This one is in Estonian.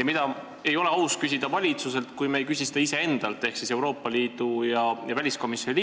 On nimelt üks küsimus, mida ei ole aus küsida valitsuselt, kui me ei küsi seda iseendalt ehk siis Euroopa Liidu asjade